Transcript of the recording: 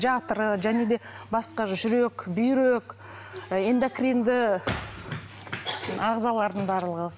жатыры және де басқа жүрек бүйрек ы эндокринді ағзалардың барлығы